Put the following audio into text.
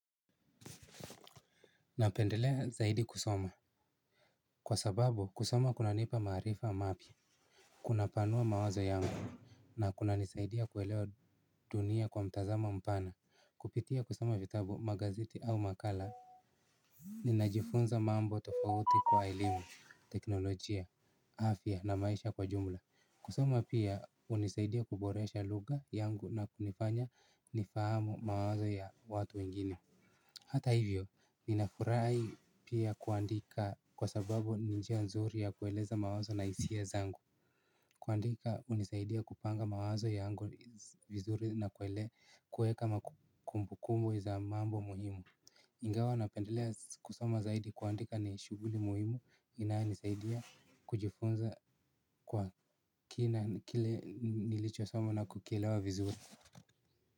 Napendelea zaidi kusoma kwa sababu kusoma kuna nipa maarifa mapia. Kuna panua mawazo yangu na kuna nisaidia kuelewa dunia kwa mtazamo mpana. Kupitia kusoma vitabu, magazeti au makala ninajifunza mambo tofauti kwa elimu, teknolojia, afya na maisha kwa jumla. Kusoma pia unisaidia kuboresha lugha yangu na kunifanya nifahamu mawazo ya watu wengini. Hata hivyo, ninafurahi pia kuandika kwa sababu ninjia nzuri ya kueleza mawazo na isia zangu. Kuandika unisaidia kupanga mawazo yangu vizuri na kuele kueka makumbukumbu za mambo muhimu. Ingawa napendelea kusoma zaidi kuandika ni shughuli muhimu ina nisaidia kujifunza kwa kina kile nilicho soma na kukielewa vizuri.